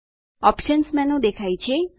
options menu દેખાય છે